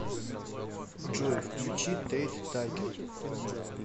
джой включи тэйт такер